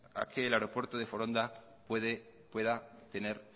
a que el aeropuerto de foronda pueda tener